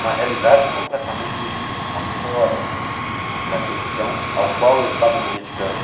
Uma realidade completamente afora da questão ao qual eu estava me dedicando.